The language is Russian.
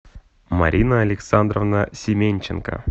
марина александровна семенченко